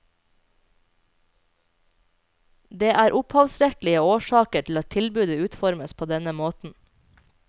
Det er opphavsrettslige årsaker til at tilbudet utformes på denne måten.